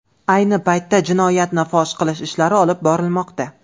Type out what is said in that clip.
Ayni paytda jinoyatni fosh qilish ishlari olib borilmoqda.